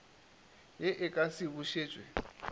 ye e ka se bušetšwe